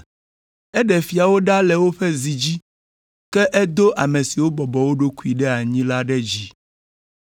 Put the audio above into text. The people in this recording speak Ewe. Eɖe fiawo ɖa le woƒe zi dzi, ke edo ame siwo bɔbɔ wo ɖokuiwo ɖe anyi la ɖe dzi.